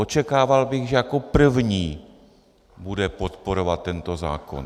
Očekával bych, že jako první bude podporovat tento zákon.